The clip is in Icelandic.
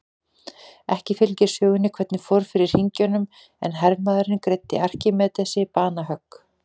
Ekki fylgir sögunni hvernig fór fyrir hringjunum en hermaðurinn greiddi Arkímedesi banahögg.